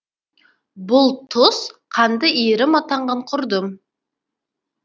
бұл тұс қанды иірім атанған құрдым